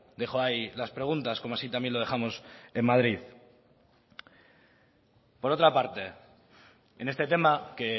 dejo ahí las preguntas como así también lo dejamos en madrid por otra parte en este tema que